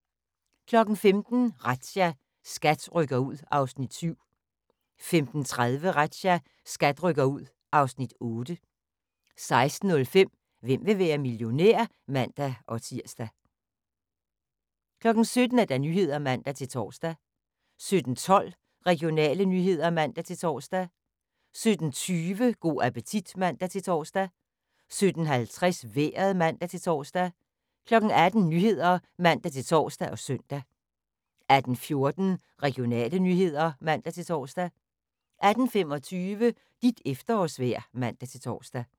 15:00: Razzia – SKAT rykker ud (Afs. 7) 15:30: Razzia – SKAT rykker ud (Afs. 8) 16:05: Hvem vil være millionær? (man-tir) 17:00: Nyhederne (man-tor) 17:12: Regionale nyheder (man-tor) 17:20: Go' appetit (man-tor) 17:50: Vejret (man-tor) 18:00: Nyhederne (man-tor og søn) 18:14: Regionale nyheder (man-tor) 18:25: Dit efterårsvejr (man-tor)